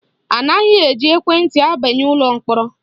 Anaghị eji ekwenti abanye ụlọ mkpọrọ